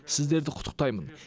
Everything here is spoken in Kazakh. сіздерді құттықтаймын